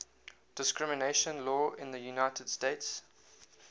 discrimination law in the united states